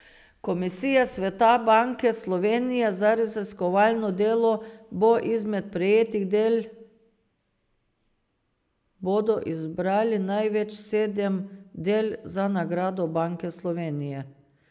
Komisija Sveta Banke Slovenije za raziskovalno delo bo izmed prejetih del bodo izbrali največ sedem del za nagrado Banke Slovenije.